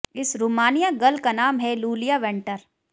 इस Romania girl का नाम है लूलिया वेंटर